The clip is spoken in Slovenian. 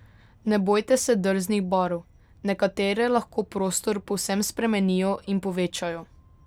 Ne bojte se drznih barv, nekatere lahko prostor povsem spremenijo in povečajo.